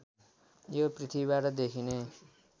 यो पृथ्वीबाट देखिने